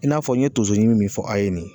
I n'a fɔ n ye tonso ɲimi min fɔ a ye nin.